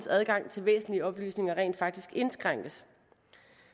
adgang til væsentlige oplysninger rent faktisk indskrænkes